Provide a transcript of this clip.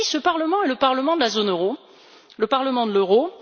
Vous avez dit que ce Parlement est celui de la zone euro, le Parlement de l'euro.